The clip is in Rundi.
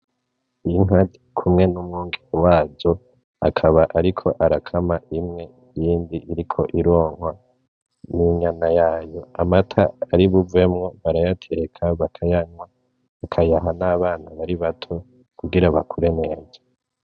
Inka z'irikumwe n'umwungere wazo akaba ariko arakama imwe iyindi iriko ironkwa n'inyana yayo amata aribuvemwo barayateka bakayanywa, bakayaha n'abana bari bato kugira bakure neza.